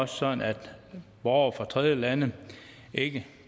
sådan at borgere fra tredjelande ikke